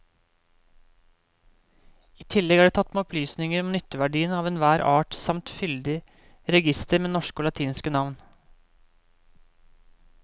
I tillegg er det tatt med opplysninger om nytteverdien av enhver art samt fyldig reigister med norske og latinske navn.